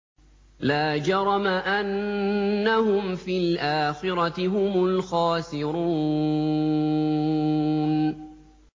لَا جَرَمَ أَنَّهُمْ فِي الْآخِرَةِ هُمُ الْخَاسِرُونَ